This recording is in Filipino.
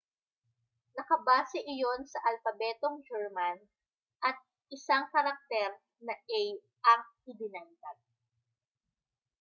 nakabase iyon sa alpabetong german at isang karakter na ã•/ãµ ang idinagdag